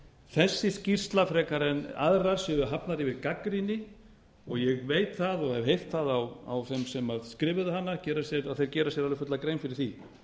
þessi skýrsla frekar en aðrar sé hafin yfir gagnrýni og ég veit það og hef heyrt það á þeim sem skrifuðu hana að þeir gera sér alveg fulla grein fyrir því